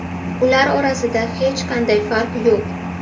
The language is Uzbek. Ular orasida hech qanday farq yo‘q.